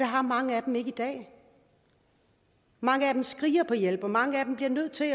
har mange af dem ikke i dag mange af dem skriger på hjælp og mange af dem bliver nødt til